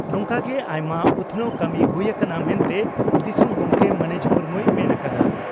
ᱱᱚᱝᱠᱟᱜᱮ ᱟᱭᱢᱟ ᱩᱛᱷᱱᱟᱹᱣ ᱠᱟᱹᱢᱤ ᱦᱩᱭ ᱟᱠᱟᱱᱟ ᱢᱮᱱᱛᱮ ᱫᱤᱥᱚᱢ ᱜᱚᱢᱠᱮ ᱢᱟᱹᱱᱤᱡ ᱢᱩᱨᱢᱩᱭ ᱢᱮᱱ ᱟᱠᱟᱫᱼᱟ ᱾